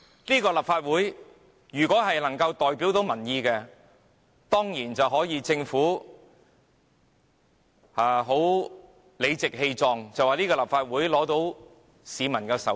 如果立法會真能代表民意，政府當然可理直氣壯地說立法會得到市民授權。